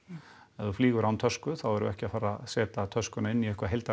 ef þú flýgur án tösku þá erum við ekki að fara að setja töskuna inn í eitthvað